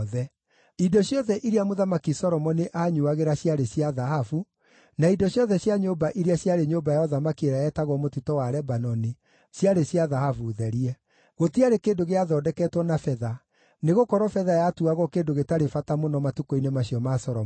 Indo ciothe iria Mũthamaki Solomoni aanyuuagĩra ciarĩ cia thahabu, na indo ciothe cia nyũmba iria ciarĩ Nyũmba ya Ũthamaki ĩrĩa yetagwo Mũtitũ wa Lebanoni ciarĩ cia thahabu therie. Gũtiarĩ kĩndũ gĩathondeketwo na betha, nĩgũkorwo betha yatuagwo kĩndũ gĩtarĩ bata mũno matukũ-inĩ macio ma Solomoni.